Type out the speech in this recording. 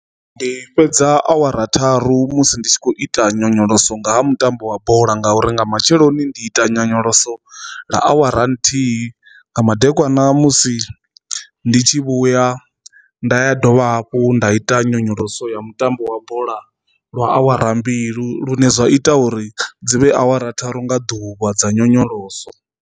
Ndi fhedza awara tharu musi ndi tshi khou ita nyonyoloso nga ha mutambo wa bola ngauri nga matsheloni ndi ita nyonyoloso ḽa awara nthihi, nga madekwana musi ndi tshi vhuya nda ya dovha hafhu nda ita nyonyoloso ya mutambo wa bola lwa awara mbilu lune zwa ita uri dzi vhe awara tharu nga ḓuvha dza nyonyoloso.